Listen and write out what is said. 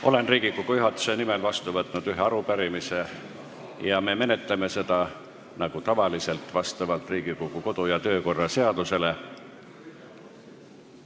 Olen Riigikogu juhatuse nimel vastu võtnud ühe arupärimise ja me menetleme seda nagu tavaliselt vastavalt Riigikogu kodu- ja töökorra seadusele.